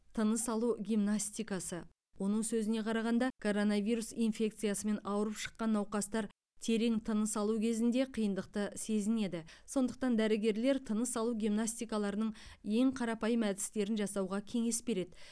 тыныс алу гимнастикасы оның сөзіне қарағанда коронавирус инфекциясымен ауырып шыққан науқастар терең тыныс алу кезінде қиындықты сезінеді сондықтан дәрігерлер тыныс алу гимнастикаларының ең қарапайым әдістерін жасауға кеңес береді